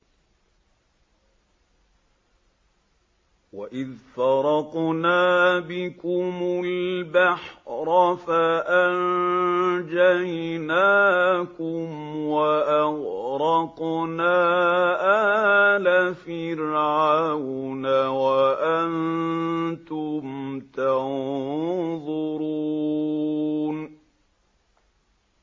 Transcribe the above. وَإِذْ فَرَقْنَا بِكُمُ الْبَحْرَ فَأَنجَيْنَاكُمْ وَأَغْرَقْنَا آلَ فِرْعَوْنَ وَأَنتُمْ تَنظُرُونَ